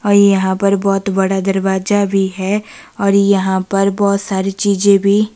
और यहां पर बहोत बड़ा दरवाजा भी है और यहां पर बहोत सारी चीज भी--